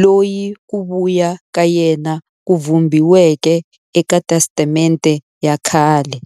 loyi ku vuya ka yena ku vhumbiweke eka Testamente ya khale.